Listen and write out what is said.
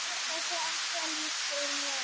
Þessi afstaða lýsir Guðrúnu vel.